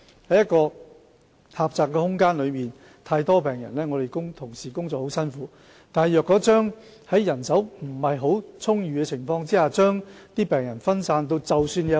在一個狹窄的空間內有太多病人，同事工作時很辛苦，但在人手不太充裕的情況下，將病人分散也會造成問題。